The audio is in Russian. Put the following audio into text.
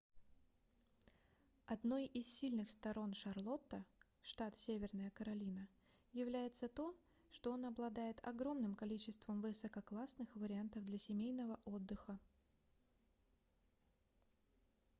одной из сильных сторон шарлотта штат северная каролина является то что он обладает огромным количеством высококлассных вариантов для семейного отдыха